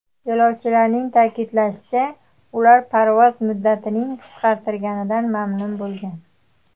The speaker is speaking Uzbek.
Yo‘lovchilarning ta’kidlashicha, ular parvoz muddatining qisqarganidan mamnun bo‘lgan.